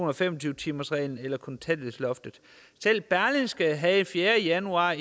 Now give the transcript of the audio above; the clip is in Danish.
og fem og tyve timersreglen eller kontanthjælpsloftet selv berlingske havde den fjerde januar